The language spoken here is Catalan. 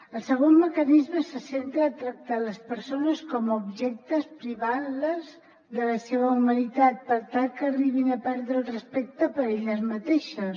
el segon mecanisme se centra a tractar les persones com a objectes privant les de la seva humanitat per tal que arribin a perdre el respecte per elles mateixes